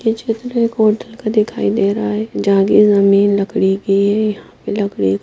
ये चित्र एक ओतल का दिखाई दे रहा है जागें हमे लकड़ी के लकड़ी --